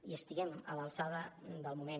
i estiguem a l’alçada del moment